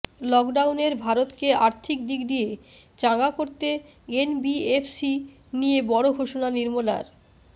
লকডাউনের ভারতকে আর্থিক দিক দিয়ে চাঙ্গা করতে এনবিএফসি নিয়ে বড় ঘোষণা নির্মলার